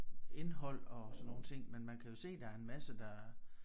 Indhold og sådan nogle ting men man kan jo se der er en masse der